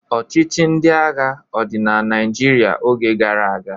Ọchịchị ndị agha ọ dị na Naịjirịa oge gara aga?